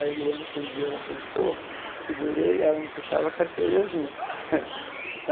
Aí eu me lembro que um dia ela tentou, eu segurei e ela me puxava a carteirinha junto.